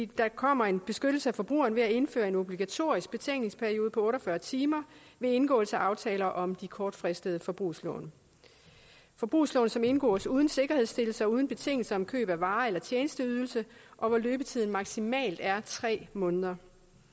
der kommer en beskyttelse af forbrugerne ved at indføre en obligatorisk betænkningsperiode på otte og fyrre timer ved indgåelse af aftaler om de kortfristede forbrugslån forbrugslån som indgås uden sikkerhedsstillelse og uden betingelser om køb af varer eller tjenesteydelser og hvor løbetiden maksimalt er tre måneder